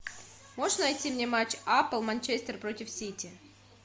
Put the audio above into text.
можешь найти мне матч апл манчестер против сити